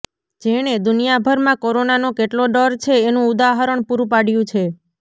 જેણે દુનિયાભરમાં કોરોનાનો કેટલો ડર છે એનું ઉદાહરણ પૂરું પાડ્યું છે